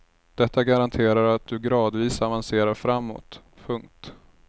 Detta garanterar att du gradvis avancerar framåt. punkt